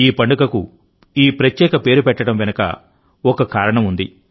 ఈ పండుగకు ఈ ప్రత్యేక పేరు పెట్టడం వెనుక కూడా ఓ కారణం ఉంది